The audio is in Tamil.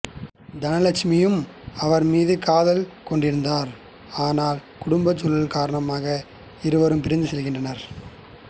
தனலக்ஸ்மியும் அவர் மீது காதல் கொண்டிருந்தார் ஆனால் குடும்பச் சூழல்கள் காரணமாக இருவரும் பிரிந்து செல்கின்றனர்